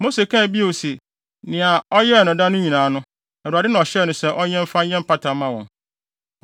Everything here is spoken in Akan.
Mose kaa bio se nea ɔyɛɛ no da no nyinaa no, Awurade na ɔhyɛɛ no sɛ ɔnyɛ mfa nyɛ mpata mma wɔn.